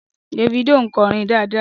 Davido ń kọrin dáadáa